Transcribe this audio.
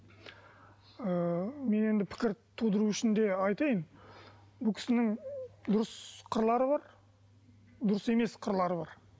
ы мен енді пікір тудыру үшін де айтайын бұл кісінің дұрыс қырлары бар дұрыс емес қырлары бар